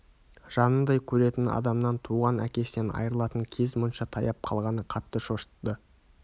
жанындай көретін адамнан туған әкесінен айырылатын кез мұнша таяп қалғаны қатты шошытты